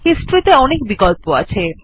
history তে অনেক বিকল্প আছে